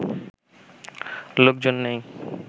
লোকজন নেই